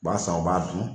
U b'a san u b'a dun